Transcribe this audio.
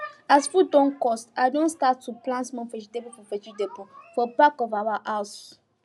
as food don cost i don start to plant small vegetable for vegetable for back of our house